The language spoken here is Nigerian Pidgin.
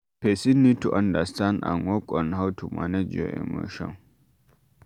Person need to understand and work on how to manage your emotion